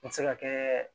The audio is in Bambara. N mi se ka kɛ